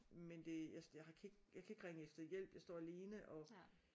Men det jeg jeg kan ikke jeg kan ikke ringe efter hjælp jeg står alene og